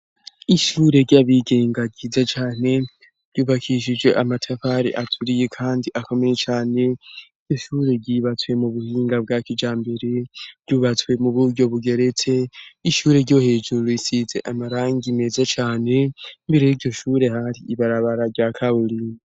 Ishure ry'abigenga ryiza cane ryubakishije amatafare aturiye, kandi akomeye cane iryo shure ryibatsuye mu buhinga bwa kija mbere ryubatsuwe mu buryo bugeretse ishure ryo hejuru risize amarangi meza cane mbere yo ryo shure hari ibarabara rya kawulina.